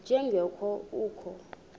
nje ngoko kukho